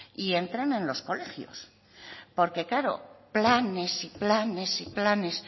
y entren en los colegios porque claro planes y planes y planes